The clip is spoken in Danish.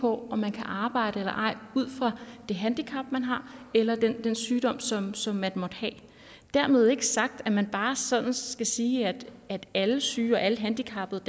på om man kan arbejde eller ej ud fra det handicap man har eller den sygdom som som man måtte have dermed ikke sagt at man bare sådan skal sige at alle syge og alle handicappede